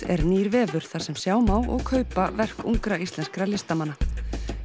er nýr vefur þar sem sjá má og kaupa verk ungra íslenskra listamanna